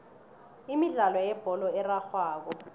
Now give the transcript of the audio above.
imidlalo yebholo erarhwako